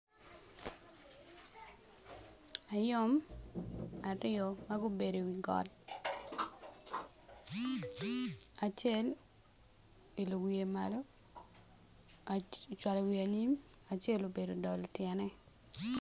Ayom aryo ma gubedo i wi got acel oilo wiye malo ocwalo wiye anyim acel obedo odolo tyene.